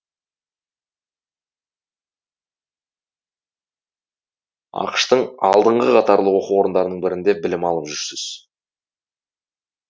ақш тың алдыңғы қатарлы оқу орындарының бірінде біліп алып жүрсіз